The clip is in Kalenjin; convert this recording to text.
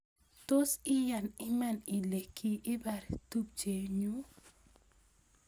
Tos I yan iman ile ki abar tupchenyu